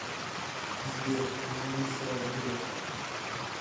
сбер кто замещает грефа